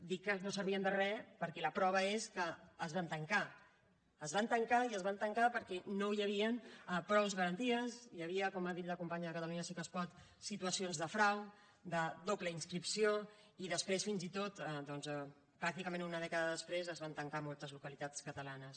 dic que no servien de re perquè la prova és que es van tancar es van tancar i es van tancar perquè no hi havien prou garanties hi havia com ha dit la companya de catalunya sí que es pot situacions de frau de doble inscripció i després fins i tot doncs pràcticament una dècada després es van tancar a moltes localitats catalanes